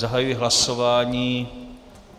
Zahajuji hlasování.